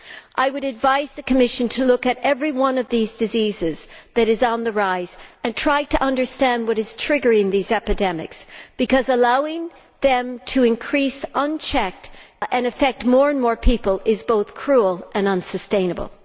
I would advise the Commission to look at every one of these diseases that is on the rise and try to understand what is triggering these epidemics because, allowing them to increase unchecked and to affect more and more people, is both cruel and unsustainable.